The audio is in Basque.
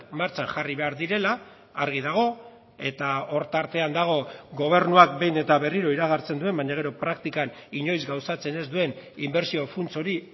martxan jarri behar direla argi dago eta hor tartean dago gobernuak behin eta berriro iragartzen duen baina gero praktikan inoiz gauzatzen ez duen inbertsio funts hori